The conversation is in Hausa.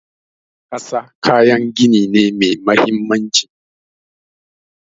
Ƙasa kayan gini ne mai mahimmanci.